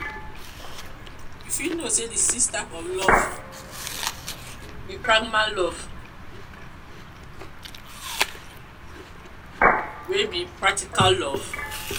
you fit know say di sixth type of love be pragma love wey be practical love.